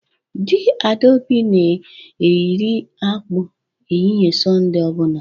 Di Adaobi na iri akpu ehihie Sunday obuna